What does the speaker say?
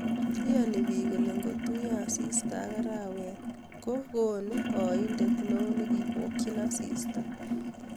Iyanii piik kole ngotuyo asista aka araweet ko kingonuu aindet neo nekipokyi asista